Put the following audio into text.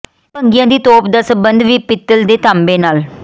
ਭੰਗੀਆਂ ਦੀ ਤੋਪ ਦਾ ਸਬੰਧ ਵੀ ਪਿੱਤਲ ਤੇ ਤਾਂਬੇ ਨਾਲ